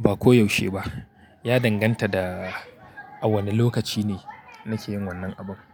ba koyaushe ba. Ya danganta da a wane lokaci ne nake yin wannan abun.